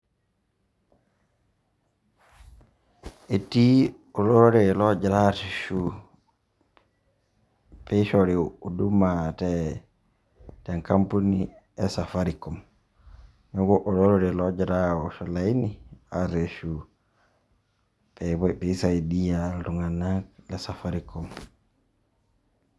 Etii olorere loogira aareshu piishori huduma te nkapuni e Safaricom. Neeku olorere logira awosh olaini arreshu pee isaidia iltung'anak le Safaricom.